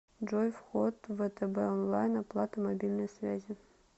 джой вход втб онлайн оплата мобильной связи